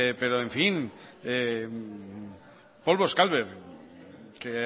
pero en fin polvos calver que